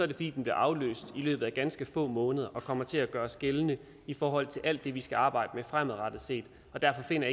det fordi den bliver afløst i løbet af ganske få måneder og kommer til at gøres gældende i forhold til alt det vi skal arbejde med fremadrettet set derfor finder